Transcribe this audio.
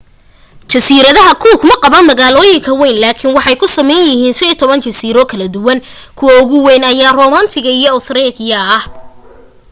jasiiradaha cook maqaban magaalooyin wayn laakin waxay ka samaysan yihiin 15 jasiiro kala duwan kuwa ugu wayn ayaa ah rarotonga iyo aitutaki